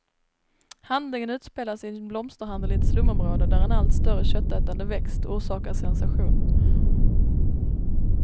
Handlingen utspelas i en blomsterhandel i ett slumområde, där en allt större köttätande växt orsakar sensation.